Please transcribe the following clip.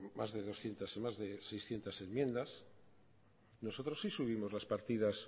más de doscientos y más de seiscientos enmiendas nosotros sí subimos las partidas